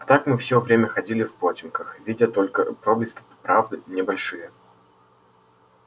а так мы всё время ходили в потёмках видя только проблески правды не большие